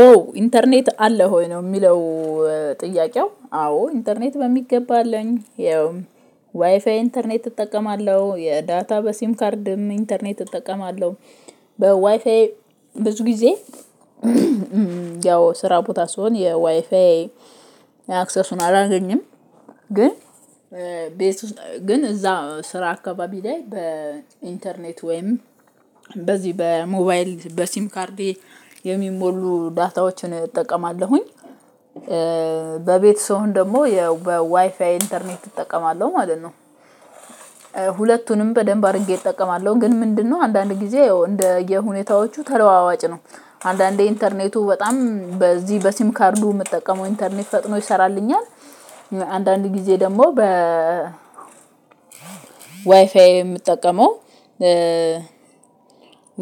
ኦ ኢንተርኔት አለህ ሆይ ነው የሚለው? ጥያቄው አዎ ኢንተርኔት በሚገባ አለኝ ያው ዋይፋይ ኢንተርኔት እጠቀማለሁ የዳታ በሲም ካርድም ኢንተርኔት እጠቀማለሁ በዋይፋይ ብዙ ጊዜ ያው ስራ ቦታ ስሆን የዋይፋይ አክሰሱን አላገኝም ግን ቤት ግን እዛ ስራ አካባቢ ላይ በኢንተርኔት ወይም በዚህ በሞባይል በሲም ካርዴ የሚሞሉ ዳታዎችን እጠቀማለሁኝ። በቤት ሰውን ደግሞ በዋይፋይ ኢንተርኔት እጠቀማለሁ ማለት ነው። ሁለቱንም በደንብ አድርጌ እጠቀማለሁ ግን ምንድነው አንዳንድ ጊዜ እንደየ ሁኔታዎቹ ተለዋዋጭ ነው። አንዳንዴ ኢንተርኔቱ በጣም በዚህ በሲም ካርዱ የምጠቀመው ኢንተርኔት ፈጥኖ ይሰራልኛል አንዳንድ ጊዜ ደግሞ በ ዋይፋዬ የምጠቀመው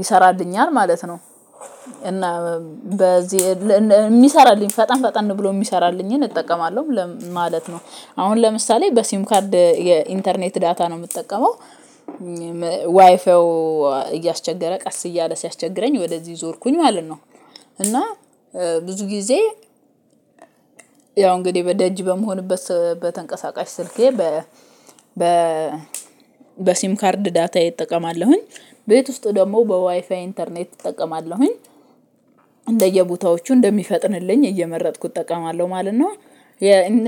ይሰራልኛል ማለት ነው። እና በዚህ የሚሰራልኝ ፈጠን ፈጠን ብሎ የሚሰራልኝን እጠቀማለሁ ለምን ማለት ነው። አሁን ለምሳሌ በሲም ካርድ የኢንተርኔት ዳታ ነው የምጠቀመው ዋይፋዩ እያስቸገረ ቀስ እያለ ሲያስቸግረኝ ወደዚህ ዞርኩኝ ማለት ነው። እና ብዙ ጊዜ ያው እንግዲህ በደጅ በመሆንበት በተንቀሳቃሽ ስልኬ በ በ በሲም ካርድ ዳታዬ እጠቀማለሁኝ። ቤት ውስጥ ደግሞ በዋይፋይ ኢንተርኔት እጠቀማለሁኝ። እንደየቦታዎቹ እንደሚፈጥንልኝ እየመረጥኩት እጠቀማለሁ ማለት ነው።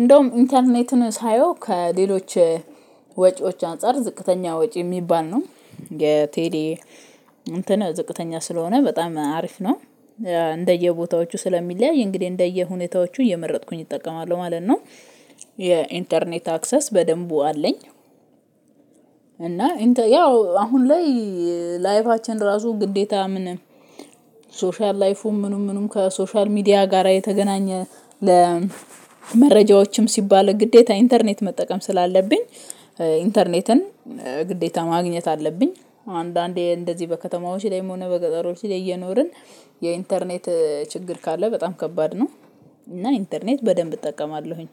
እንደውም ኢንተርኔትን ሳየው ከሌሎች ወጪዎች አንፃር ዝቅተኛ ወጪ የሚባል ነው የቴሌ እንትን ዝቅተኛ ስለሆነ በጣም አሪፍ ነው። እንደየቦታዎቹ ስለሚለያይ እንግዲህ እንደየሁኔታዎቹ እየመረጥኩኝ እጠቀማለሁ ማለት ነው። የኢንተርኔት አክሰስ በደንቡ አለኝ። እና ያው አሁን ላይ ላይፋችን ራሱ ግዴታ ምን ሶሻል ላይፉም ምኑም ምኑም ከሶሻል ሚዲያ ጋራ የተገናኘ ለመረጃዎችም ሲባል ግዴታ ኢንተርኔት መጠቀም ስላለብኝ ኢንተርኔትን ግዴታ ማግኘት አለብኝ። አንዳንዴ እንደዚህ በከተማዎች ላይም ሆነ በገጠሮች ላይ እየኖርን የኢንተርኔት ችግር ካለ በጣም ከባድ ነው። እና ኢንተርኔት በደንብ እጠቀማለሁኝ